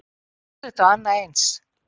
Þvílíkt og annað eins!